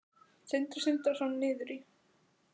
Sindri Sindrason: Niður í?